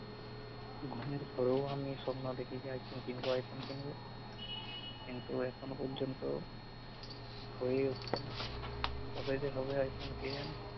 ঘুমের ঘোরেও আমি সপ্ন দেখি যে আইফোন কিনব আইফোন কিনব কিন্তু এখনো পর্যন্ত হয়ে উঠছে না কবে যে হবে আইফোন কে জানে